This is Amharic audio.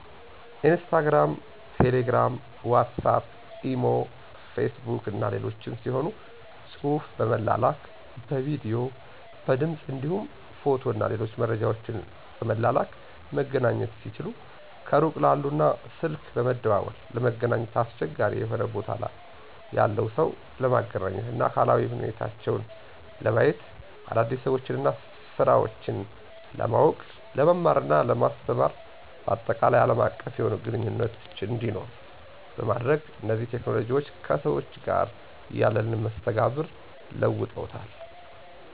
ኢንስታግራም፣ ቴሌግራም፣ ዋትስአፕ፣ ኢሞ፣ ፌስቡክ እና ሌሎችም ሲሆኑ ጽሁፍ በመላላክ፣ በቪዲዮ፣ በድምፅ እንዲሁም ፎቶ እና ሌሎች መረጃወችን በመላላክ መገናኘት ሲችሉ ከሩቅ ላሉ እና ስልክ በመደዋወል ለመገናኘት አስቸጋሪ የሆነ ቦታ ያለን ሰው ለማግኘት እና አካላዊ ሁኔታውን ለማየት፣ አዳዲስ ሰወችንና ስራወችን ለማውቅ፣ ለመማርና ለማስተማር ባጠቃላይ አለም አቀፍ የሆነ ግንኙነት እንዲኖር በማድረግ እነዚህ ቴክኖሎጅዎች ከሰዎች ጋር ያለንን መስተጋብር ለውጠዉታል።